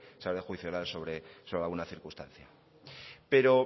se abre juicio oral sobre alguna circunstancia pero